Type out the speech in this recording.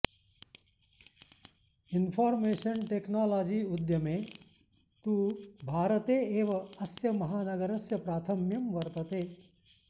information technology उद्यमे तु भारते एव अस्य महानगरस्य प्राथम्यं वर्तते